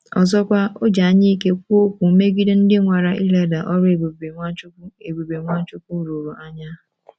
Ọzọkwa, o ji anyaike kwuo okwu megide ndị nwara ileda ọrụ ebube Nwachukwu ebube Nwachukwu rụrụ anya.